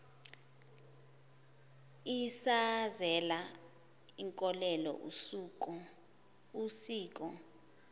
isazela inkolelo usiko